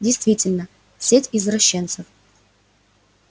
действительно сеть извращенцев